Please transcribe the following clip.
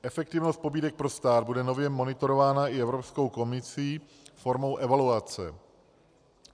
Efektivnost pobídek pro stát bude nově monitorována i Evropskou komisí formou evaluace.